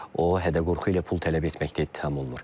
O hədə-qorxu ilə pul tələb etməkdə ittiham olunur.